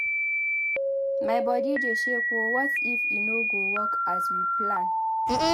My body dey shake oo what if e no work as we plan?